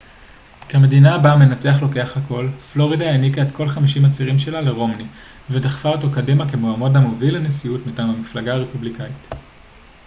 כמדינה בה המנצח לוקח הכל פלורידה העניקה את כל חמישים הצירים שלה לרומני ודחפה אותו קדימה כמועמד המוביל לנשיאות מטעם המפלגה הרפובליקאית